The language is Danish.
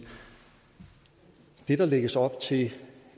det der lægges op til ikke